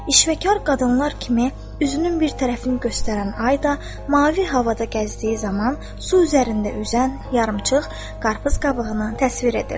İşvəkar qadınlar kimi üzünün bir tərəfini göstərən ay da mavi havada gəzdiyi zaman su üzərində üzən yarımçıq qarpız qabığını təsvir edirdi.